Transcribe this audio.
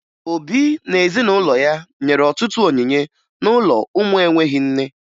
Obi na ezinụlọ ya nyere ọtụtụ onyinye n'ụlọ ụmụ enweghi nne